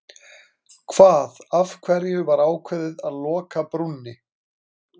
Hvað, af hverju var ákveðið að loka brúnni?